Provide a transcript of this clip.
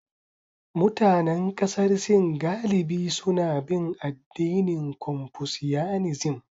Mutanen kasar Sin galibi suna bin addinin Confucianism.